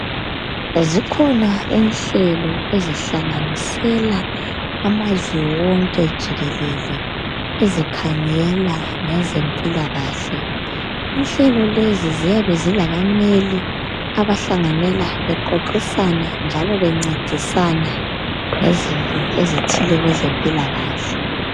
Zikhona inhlelo ezihlanganisela amazwe wonke jikelele ezikhangela ngezempilakahle. Inhlelo lezo ziyabe zilabameli abahlanganela bexoxisana njalo bencedisana ngezinto ezithile kwezempilakahle.